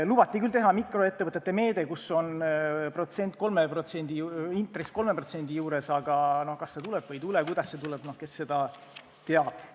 Lubati küll teha mikroettevõtete meede, kus on intress 3% ringis, aga kas see tuleb või ei tule, kuidas see tuleb – noh, kes seda teab.